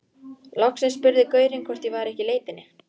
Loksins spurði gaurinn hvort ég væri ekki í leitinni.